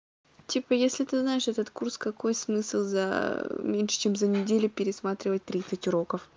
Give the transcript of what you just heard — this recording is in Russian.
типа если ты знаешь этот курс какой смысл за меньше чем за неделю пересматривать тридцать уроков